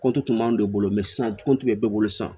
kɔnti kun b'anw de bolo sisan kɔnti bɛ ne bolo sisan